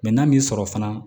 Mɛ n'a m'i sɔrɔ fana